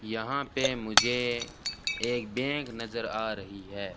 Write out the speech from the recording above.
यहां पे मुझे एक बैग नजर आ रही है।